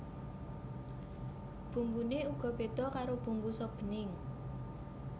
Bumbuné uga béda karo bumbu sop bening